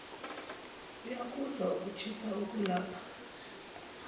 uyakuzwa ukushisa okulapha